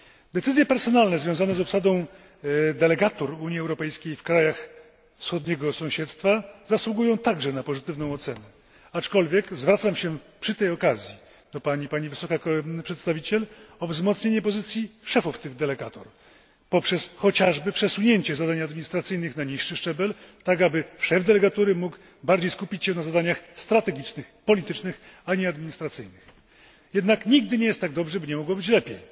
Decyzje personalne związane z obsadą delegatur Unii Europejskiej w krajach wschodniego sąsiedztwa zasługują także na pozytywną ocenę, aczkolwiek zwracam się przy tej okazji do Pani, Pani Wysoka Przedstawiciel, o wzmocnienie pozycji szefów tych delegatur, chociażby poprzez przesunięcie zadań administracyjnych na niższy szczebel, tak aby szef delegatury mógł w większym stopniu skupić się na działaniach strategicznych, politycznych, zamiast na administracyjnych. Jednak nigdy nie jest tak dobrze, by nie mogło być lepiej.